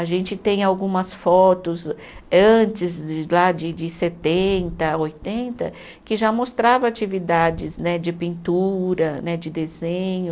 A gente tem algumas fotos antes de lá de de setenta, oitenta, que já mostrava atividades né de pintura, né de desenho,